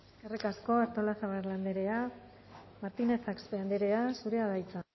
eskerrik asko artolazabal andrea martinez axpe andrea zurea da hitza